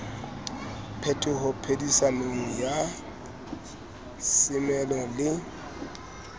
phetoho phedisanong ya semelo le